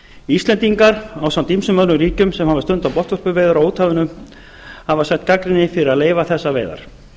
íslendingar ásamt ýmsum öðrum ríkjum sem hafa stundað botnvörpuveiðar á úthafinu hafa sætt gagnrýni fyrir að leyfa þessar veiðar